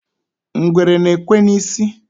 ngwere na-ekwe n'isi